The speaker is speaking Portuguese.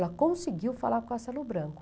Ela conseguiu falar com o Castelo Branco.